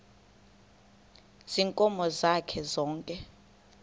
ziinkomo zakhe zonke